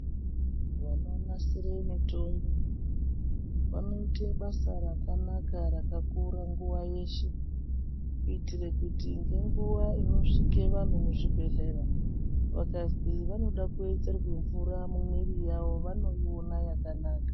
Vanonasira mitombo vanoita basa rakanaka rakakura nguwa yeshe kuitira kuti ngenguwa inosvika vantu muzvibhedhlera vakazwi vanoda kuwedzerwa mvura muviri mavo vanoiona yakanaka.